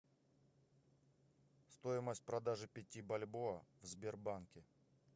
стоимость продажи пяти бальбоа в сбербанке